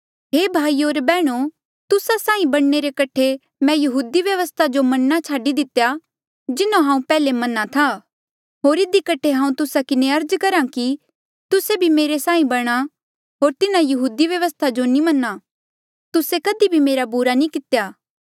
हे भाईयो होर बैहणो तुस्सा साहीं बणने रे कठे मैं यहूदी व्यवस्था जो मन्ना छाडी दितेया जिन्हों हांऊँ पैहले मन्हा था होर इधी कठे हांऊँ तुस्सा किन्हें अर्ज करहा कि तुस्से भी मेरे साहीं बणा होर तिन्हा यहूदी व्यवस्था जो नी मन्हा तुस्से कधी भी मेरा बुरा नी कितेया